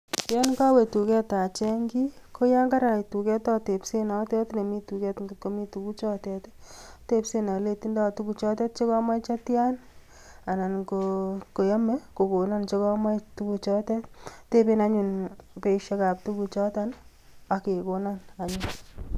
Yon kowe tuget aching kit, koyon karait tuget atebseen notet nemii tuget. Angot komi tuguchotet, atebseen alei tindo tuguchotet chekoboe chetian anan ko kot koyome kokonon chekomoche tuguchotet. Ateben anyun beisiek ab tuguchoton ak kekonoon.